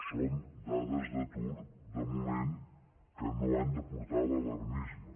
són dades d’atur de moment que no han de portar a l’alarmisme